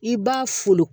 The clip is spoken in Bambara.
I b'a folo